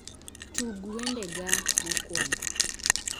Tug wendega mokwongo